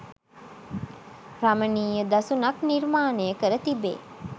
රමණීය දසුනක් නිර්මාණය කර තිබේ